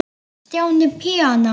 Stjáni píanó